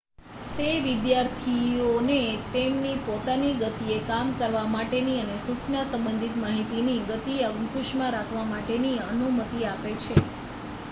તે વિદ્યાર્થીઓને તેમની પોતાની ગતિએ કામ કરવા માટેની અને સૂચના સંબંધિત માહિતીની ગતિને અંકુશમાં રાખવા માટેની અનુમતિ આપે છે